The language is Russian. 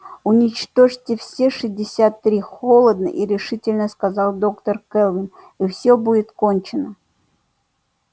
уничтожьте все шестьдесят три холодно и решительно сказала доктор кэлвин и все будет кончено